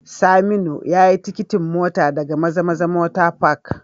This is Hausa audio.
Saminu yayi tikitin mota daga mazamaza motor Park